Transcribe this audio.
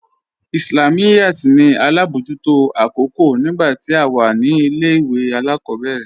Islamiyat ní alábọjútò akókò nígbà tí à wà ní ilẹ̀-ìwé aláàkòbẹ̀rẹ̀